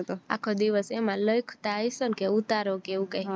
અખો દિવસ એમાં લખતા હયસો ને કે ઉતારો કે એવું કાય